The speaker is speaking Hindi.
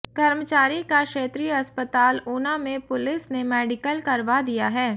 कर्मचारी का क्षेत्रीय अस्पताल ऊना में पुलिस ने मेडिकल करवा दिया है